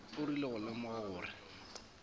o rile go lemoga gore